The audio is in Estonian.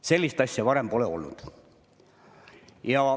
Sellist asja pole varem olnud.